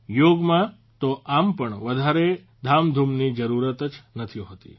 યોગમાં તો આમ પણ વધારે ધામધૂમની જરૂરત જ નથી હોતી